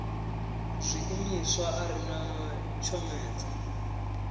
zwiimiswa a ri na tshomedzo